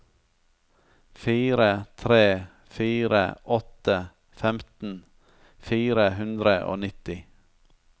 fire tre fire åtte femten fire hundre og nitti